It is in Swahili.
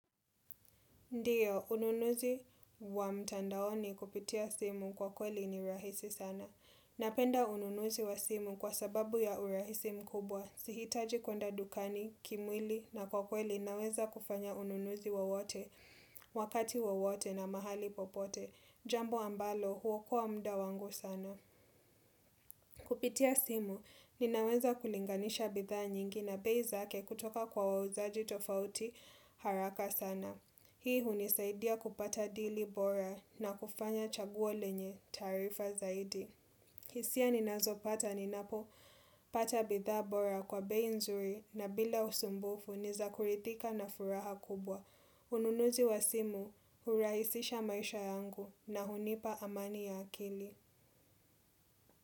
Ndiyo, ununuzi wa mtandaoni kupitia simu kwa kweli ni rahisi sana. Napenda ununuzi wa simu kwa sababu ya urahisi mkubwa. Sihitaji kwenda dukani, kimwili na kwa kweli naweza kufanya ununuzi wowote, wakati wowote na mahali popote. Jambo ambalo, huokoa muda wangu sana. Kupitia simu, ninaweza kulinganisha bidhaa nyingi na bei zake kutoka kwa wauzaji tofauti haraka sana. Hii hunisaidia kupata dili bora na kufanya chaguo lenye taarifa zaidi. Hisia ninazo pata ninapo pata bidhaa bora kwa bei nzuri na bila usumbufu ni za kuridhika na furaha kubwa. Ununuzi wa simu huraisisha maisha yangu na hunipa amani ya akili.